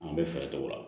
An bɛ fɛɛrɛ kɛ o la